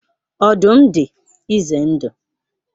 Ọdụm dị ize ndụ.